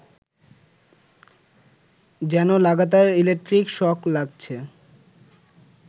যেন লাগাতার electric shock লাগছে